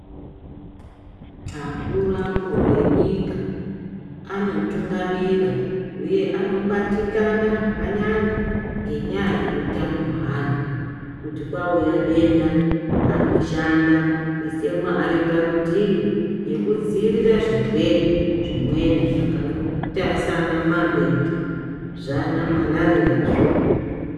Akuru akuru enyika anotungamira huye anobatikana zvakanyanya ngenyaya yeutano hwevantu kuti kaita denda anoshanda anoisa mari parutivi yekudzivirira zvimweni zvirwere zvakaita sana navebedi zvana marariya zvo.